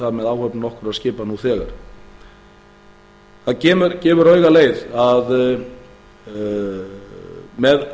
það með áhöfnum nokkurra skipa nú þegar það gefur auga leið að með